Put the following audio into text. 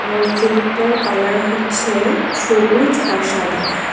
মসজিদটার কালার হচ্ছে সবুজ আর সাদা।